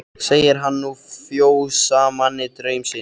Segir hann nú fjósamanni draum sinn.